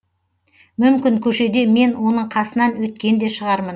мүмкін көшеде мен оның қасынан өткен де шығармын